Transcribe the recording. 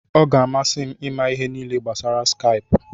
Ọ ga-amasị m ịma ihe niile gbasara Skaipụ.